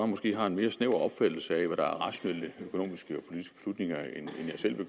måske har en mere snæver opfattelse af hvad der er rationelle økonomiske